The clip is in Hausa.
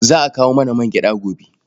Za a kawo mana mangyaɗa gobe.